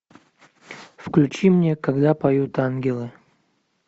включи мне когда поют ангелы